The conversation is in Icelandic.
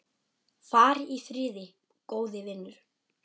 Far í friði, góði vinur.